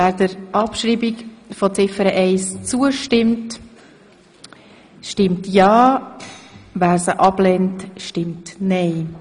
Wer der Ziffer eins annimmt, stimmt ja, wer sie ablehnt, stimmt nein.